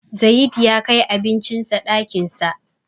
Zayid ya kai abincin sa ɗakin sa.